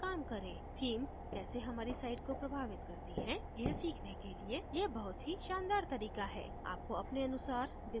themes कैसे हमारी site को प्रभावित करती हैं यह सीखने के लिए यह बहुत ही शानदार तरीका है आपको अपने अनुसार डिजाइन भी मिल सकते हैं